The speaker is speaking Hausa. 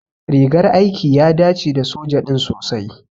Rigar aiki ya dace da soja din sosai.